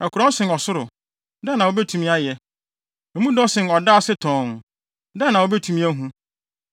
Ɛkorɔn sen ɔsoro, dɛn na wubetumi ayɛ? Emu dɔ sen ɔda ase tɔnn, dɛn na wubetumi ahu?